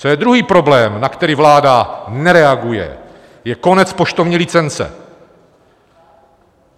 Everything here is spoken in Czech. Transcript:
Co je druhý problém, na který vláda nereaguje, je konec poštovní licence.